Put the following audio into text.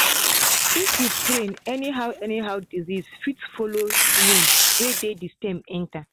if you prune anyhow anyhow disease fit follow wound wey dey the stem enter.